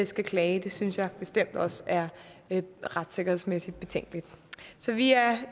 skal klage synes jeg bestemt også er retssikkerhedsmæssigt betænkeligt så vi er